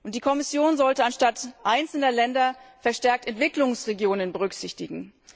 Die Kommission sollte statt einzelner Länder verstärkt Entwicklungsregionen berücksichtigen.